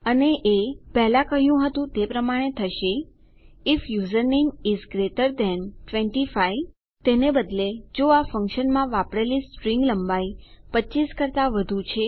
અને એ પહેલા કહ્યું હતું તે પ્રમાણે થશે if username is greater than 25 તેને બદલે જો આ ફંક્શનમાં વાપરેલી સ્ટ્રીંગ લંબાઈ 25 કરતા વધુ છે